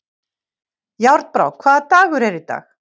Járnbrá, hvaða dagur er í dag?